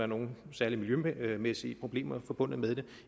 nogen særlige miljømæssige problemer forbundet med det